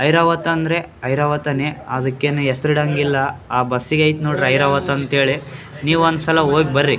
ಐರಾವತ ಅಂದ್ರೆ ಐರಾವತನೆ ಅದಕ್ಕೇನು ಹೆಸ್ರು ಇಡಂಗಿಲ್ಲ ಆ ಬಸ್ಸ್ ಗೈತ್ ನೋಡ್ರಿ ಐರಾವತಂತ್ ಹೇಳಿ ನೀವ್ ಒಂದ್ ಸಲ ಹೋಗ್ ಬರ್ರಿ.